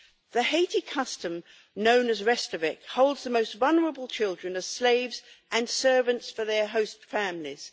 The Haiti custom known as restavek holds the most vulnerable children as slaves and servants for host families.